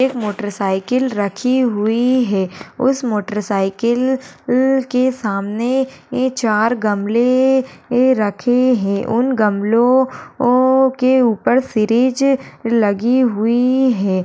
एक motor cycle रखी हुई है उस मोटर साइकिल इल के सामने ए चार गमले ए रखे है उन गमलो ओ के उपर सीरिज लगी हुई है।